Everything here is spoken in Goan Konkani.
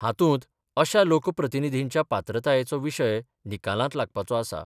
हातुंत अश्या लोक प्रतिनीधींच्या पात्रतायेचो विशय निकालांत लागपाचो आसा.